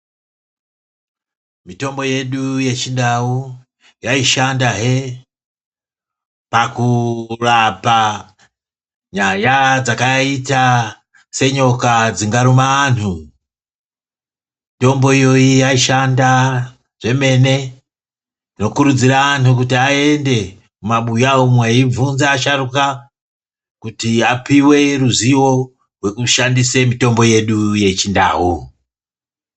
Mitombo yedu yechindau yayishanda hee, pakurapa nyaya dzakaita senyoka dzingaruma anhu ,mitombo iyoyo yayishanda zvemene. Ndokurudzira anhu kuti aende mumabuya umwu beyibvunza vasharukwa kuti apiwe ruzivo rwekushandise mitombo yedu yechindau.